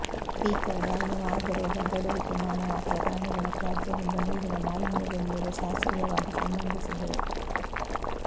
faecal ಬಾಯಿಯ ಮಾರ್ಗ ರೋಗ ಹರಡುವಿಕೆ ಮಾನವ ಅಥವಾ ಪ್ರಾಣಿಗಳ ತ್ಯಾಜ್ಯದಿಂದ ನೀರಿನ ಮಾಲಿನ್ಯದೊಂದಿಗೆ ಶಾಸ್ತ್ರೀಯವಾಗಿ ಸಂಬಂಧಿಸಿದೆ